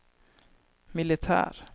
militär